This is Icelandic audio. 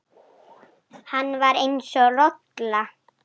Hann var eins og rola.